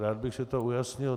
Rád bych si to ujasnil.